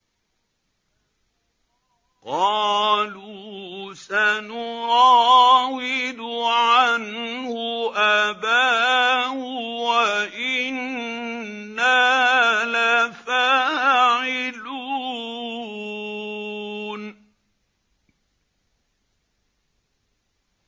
قَالُوا سَنُرَاوِدُ عَنْهُ أَبَاهُ وَإِنَّا لَفَاعِلُونَ